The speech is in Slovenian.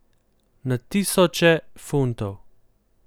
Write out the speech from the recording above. Na tisoče funtov.